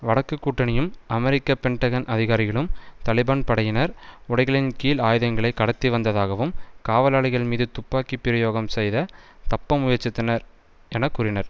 வடக்கு கூட்டணியும் அமெரிக்க பென்டகன் அதிகாரிகளும் தலிபான் படையினர் உடைகளின் கீழ் ஆயுதங்களை கடத்தி வந்ததாகவும் காவலாளிகள் மீது துப்பாக்கி பிரயோகம் செய்து தப்ப முயற்சித்தனர் என கூறினர்